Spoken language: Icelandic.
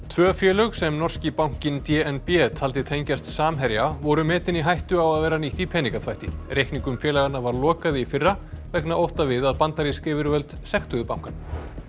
tvö félög sem norski bankinn d n b taldi tengjast Samherja voru metin í hættu á að vera nýtt í peningaþvætti reikningum félaganna var lokað í fyrra vegna ótta við að bandarísk yfirvöld sektuðu bankann